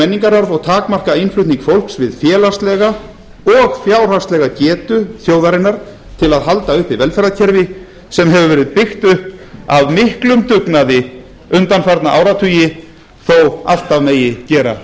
menningararf og takmarka innflutning fólks við félagslega og fjárhagslega getu þjóðarinnar til að halda uppi velferðarkerfi sem hefur verið byggt upp af miklum dugnaði undanfarna áratugi þó alltaf megi gera